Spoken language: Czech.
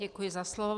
Děkuji za slovo.